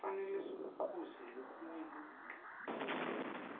kufane sikuquze lokinye ludca